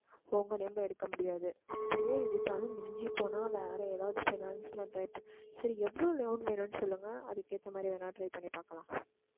உங்க name ல எடுக்க முடியாது அப்படியே எடுத்தாலும் மிஞ்சி போனா வேற எதாவது finance ல try பண்ணலாம் சரி எவ்வளவு loan வேணும்ன்னு சொல்லுங்க அதுக்கு ஏத்த மாதிரி வேணா try பண்ணி பார்க்கலாம்